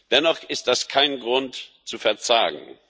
Dennoch ist das kein Grund zu verzagen.